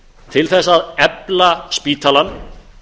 til þess að efla spítalann